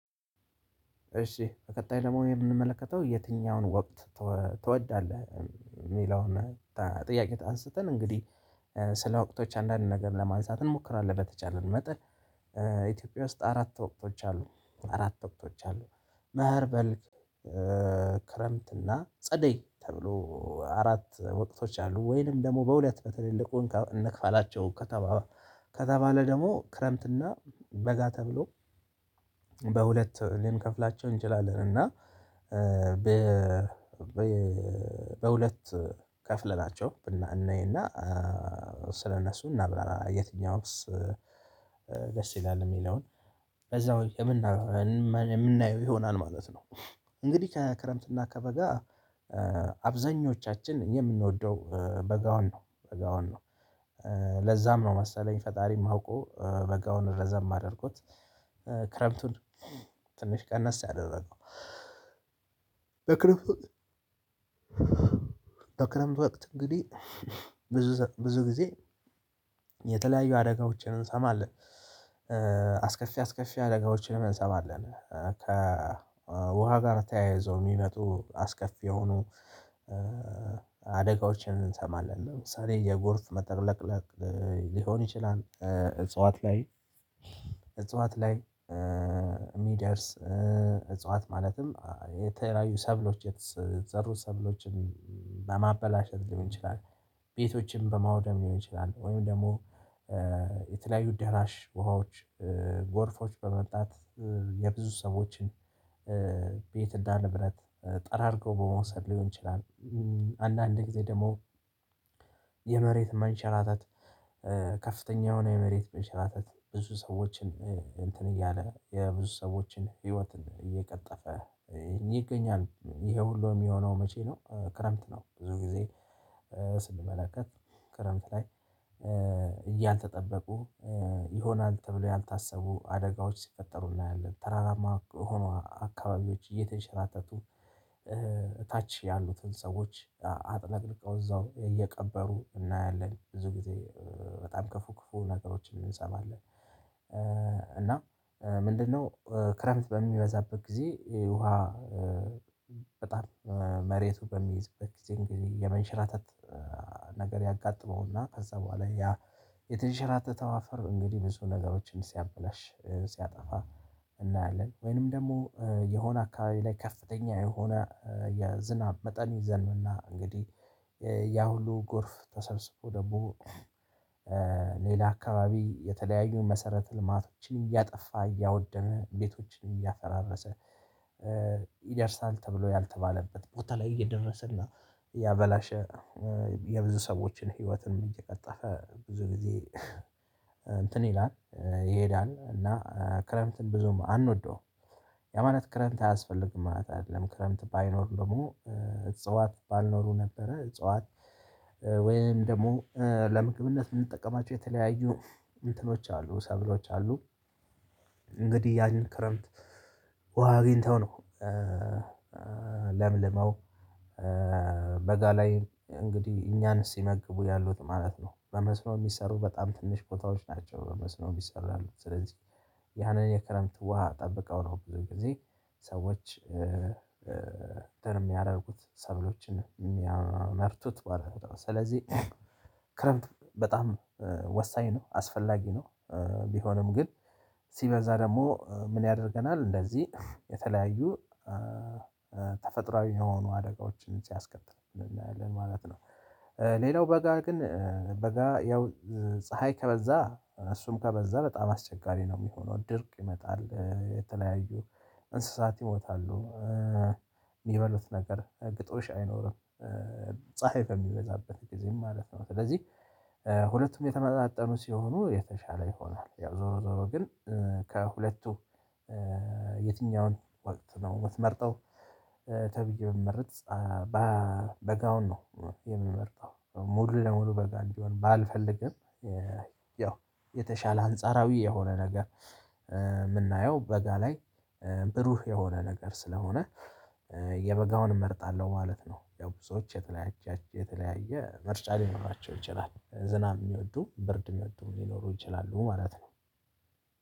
እሺ በቀጣይ ደግሞ የምንመለከተው የትኛውን ወቅት ትወዳለህ? ሚለውን ጥያቄ አንስተን እንግዲህ ስለ ወቅቶች አንዳንድ ነገር ለማንሳት እንሞክራለን በተቻለ መጠን ኢትዮጵያ ውስጥ አራት ወቅቶች አሉ። አራት ወቅቶች አሉ። መኸር በልግ ክረምት እና ጸደይ ተብሎ አራት ወቅቶች አሉ። ወይንም ደግሞ በሁለት በተለይ ልቆን እነካላቸው ከተባ ከተባለ ደግሞ ክረምትና በጋ ተብሎ በሁለት ልንከፍላቸው እንችላለን እና በ በሁለት ከፍለናቸው ብና እናይና ስለነሱ እናብራራ የትኛውስ ደስ ይላል ሚለውን በዛው የምና የምናየው ይሆናል ማለት ነው። እንግዲህ ከክረምትና ከበጋ አብዛኞቻችን የምንወደው በጋውን ነው በጋውን ነው። ለዛም ነው መሰለኝ ፈጣሪም አውቆ በጋውን ረዘም አድርጐት ክረምቱን ትንሽ ቀነስ ያደረገው በክረምት በክረምት ወቅት እንግዲህ ብዙ ብዙ ጊዜ የተለያዩ አደጋዎችን እንሰማለን። አስከፊ አስከፊ አደጋዎችን እንሰማለን ከ ከውሃ ጋር ተያይዘው ሚመጡ አስከፊ የሆኑ አደጋዎችን እንሰማለን ለምሳሌ የጎርፍ መጥለቅለቅ ሊሆን ይችላል። እጽዋት ላይ እጽዋት ላይ ሚደርስ እጽዋት ማለትም የተለያዩ ሰብሎች የተዘሩ ሰብሎችን ለማበላሸት ሊሆን ይችላል ቤቶችም በማውደም ሊሆን ይችላል ወይም ደግሞ የተለያዩ ደራሽ ውሃዎች ጎርፎች በመምጣት የብዙ ሰዎችን ቤት እና ንብረት ጠራርገው በመውሰድ ሊሆን ይችላል አንዳንድ ጊዜ ደግሞ የመሬት መንሸራተት ከፍተኛ የሆነ የመሬት መሸራተት ብዙ ሰዎችን እንትን እያለ የብዙ ሰዎችን ህይወትን እየቀጠፈ ይገኛል። ይሄ ሁሉ የሚሆነው መቼ ነው? ክረምት ነው። ብዙ ጊዜ ስንመለከት ክረምት ላይ ያልተጠበቁ ይሆናል ተብሎ ያልታሰቡ አደጋዎች ሲፈጠሩ እናያለን። ተራራማ የሆኑ አካባቢዎች እየተሸራተቱ ታች ያሉትን ሰዎች አጥለቅልቀው እዛው እየቀበሩ እናያለን ብዙ ጊዜ በጣም ከፉ ክፉ ነገሮችን እንሰማለን እና ምንድነው ክረምት በሚበዛበት ጊዜ ውሃ በጣም መሬቱ በሚይዝበት ጊዜ የመንሸራተት ነገር ያጋጥመውና ከዛ በኋላ ያ የተንሽራተተው አፈር እንግዲህ ብዙ ነገሮችን ሲያብላሽ ሲያጠፋ እናያለን ወይንም ደግሞ የሆነ አካባቢ ላይ ከፍተኛ የሆነ የዝናብ መጠን ይዘንብና እንግዲህ ያ ሁሉ ጎርፍ ተሰብስቦ ደግሞ ሌላ አካባቢ የተለያዩ መሰረተ ልማቶችን እያጠፋ እያወደመ ቤቶችን እያፈራረሰ ይደርሳል ተብሎ ያልተባለበት ቦታ ላይ እየደረሰና እያበላሸ የብዙ ሰዎችን ህይወትን እየቀጠፈ ብዙ ጊዜ እንትን ይላል ይሄዳል። እና ክረምትን ብዙም አንወደውም። ያ ማለት ክረምት አያስፈልግም ማለት አይደለም። ክረምት ባይኖር ደግሞ እጽዋት ባልኖሩ ነበረ። እጽዋት ወይም ደግሞ ለምግብነት ምንጠቀማቸው የተለያዩ እንትኖች አሉ ሰብሎች አሉ። እንግዲህ ያን ክረምት ውሃ አግኝተው ነው ለምልመው በጋ ላይ እንግዲህ እኛን ሲመግቡ ያሉት ማለት ነው። በመስሎ ሚሰሩ በጣም ትንሽ ቦታዎች ናቸው በመስኖ የሚሰሩ ያሉት። ስለዚህ ያንን የክረምት ውሃ ጠብቀው ነው ብዙ ጊዜ ሰዎች እንትን ሚያደርጉት ሰብሎችን ሚያመርቱት ማለት ነው ስለዚህ ክረምት በጣም ወሳኝ ነው። አስፈላጊ ነው። ቢሆንም ግን ሲበዛ ደግሞ ምን ያደርገናል እንደዚህ የተለያዩ ተፈጥሮአዊ የሆኑ አደጋዎችን ሲያስከትሉ ማለት ነው። ሌላው በጋ ግን በጋ ያው ፀሀይ ከበዛ እሱም ከበዛ በጣም አስቸጋሪ ነው ሚሆነው። ድርቅ ይመጣል የተለያዩ እንስሳት ይሞታሉ። ሚበሉት ነገር ግጦሽ አይኖርም። ፀሀይ በሚበዛበት ጊዜም ማለት ነው ስለዚህ ሁለቱም የተመጣጠኑ ሲሆኑ የተሻለ ይሆናል። ያው ዞሮ ዞሮ ግን ከሁለቱ የትኛውን ወቅት ነው ምትመርጠው? ተብዬ ብመርጥ ባ በጋውን ነው የምመርጠው። ሙሉ ለሙሉ በጋ እንዲሆን ባልፈልግም ያው የተሻለ አንጻራዊ የሆነ ነገር ምናየው በጋ ላይ ብሩህ የሆነ ነገር ስለሆነ የበጋውን እመርጣለሁ ማለት ነው። ያው ብዙዎች የተለያየ የተለያየ ምርጫ ሊኖራቸው ይችላል። ዝናብ ሚወዱ ብርድ ሚወዱ ሊኖሩ ይችላሉ ማለት ነው።